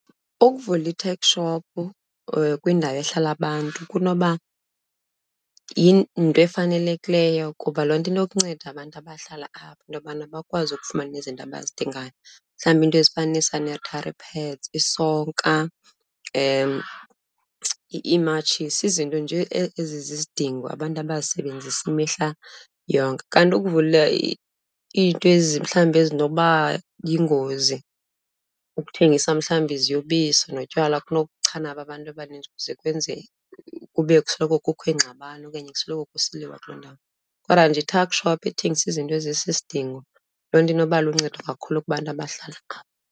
Ukuvula i-tuck shop kwindawo ehlala abantu kunoba yinto efanelekileyo kuba loo nto inokunceda abantu abahlala apho into yobana bakwazi ukufumana izinto abazidingayo. Mhlawumbi iinto ezifana nee-sanitary pads, isonka, iimatshisi, izinto nje ezizizidingo abantu abazisebenzisa imihla yonke. Kanti ukuvula iinto mhlawumbi ezinoba yingozi, ukuthengisa mhlawumbi iziyobisi notywala kunokuchana ababantu abaninzi kuze kwenze kube kusoloko kukho iingxabano okanye kusoloko kusiliwa kuloo ndawo. Kodwa nje i-tuck shop ethengisa izinto ezisisidingo, loo nto inokuba luncedo kakhulu kubantu abahlala apha.